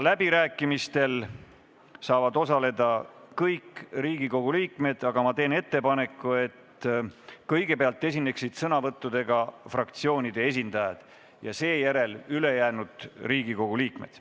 Läbirääkimistel saavad osaleda kõik Riigikogu liikmed, aga ma teen ettepaneku, et kõigepealt esineksid sõnavõtuga fraktsioonide esindajad ja seejärel ülejäänud Riigikogu liikmed.